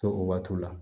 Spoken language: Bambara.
To o waatiw la